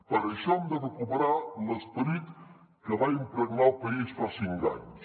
per això hem de recuperar l’esperit que va impregnar el país fa cinc anys